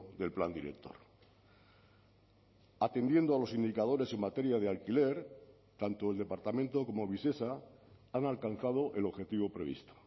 del plan director atendiendo a los indicadores en materia de alquiler tanto el departamento como visesa han alcanzado el objetivo previsto